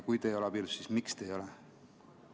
Kui te ei ole abielus, siis miks te ei ole?